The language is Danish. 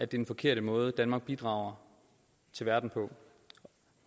den forkerte måde danmark bidrager til verden på